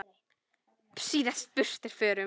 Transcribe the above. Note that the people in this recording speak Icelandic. síðast burt er förum.